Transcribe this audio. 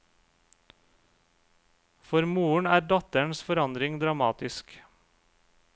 For moren er datterens forandring dramatisk.